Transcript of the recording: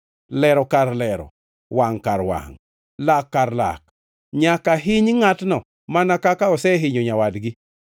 Lero kar lero, wangʼ kar wangʼ, lak kar lak. Nyaka hiny ngʼatno mana kaka osehinyo nyawadgi.